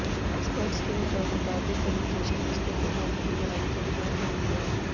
experts के मुताबिक communication रिश्ते को मजबूत बनाने के लिए बेहद जरुरी है